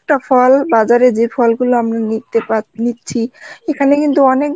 একটা ফল বাজারে যে ফল গুলো আমরা নিতে পার~ নিচ্ছি, এখানে কিন্তু অনেক